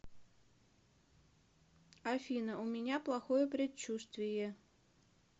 афина у меня плохое предчувствие